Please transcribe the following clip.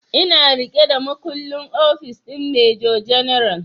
Ina riƙe da makullin ofis din major general